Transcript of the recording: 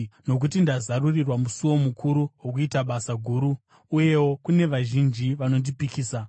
nokuti ndazarurirwa musuo mukuru wokuita basa guru, uyewo kune vazhinji vanondipikisa.